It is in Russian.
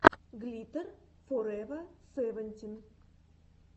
глиттер форева севентин